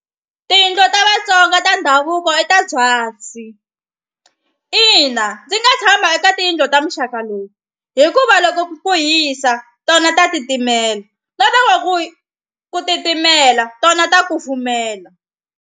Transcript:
Tiyindlu ta Vatsonga ta ndhavuko i ta byasi ina ndzi nga tshama eka tiyindlu ta muxaka lowu hikuva loko ku hisa tona ta titimela na loko ku ku titimela tona ta kufumela.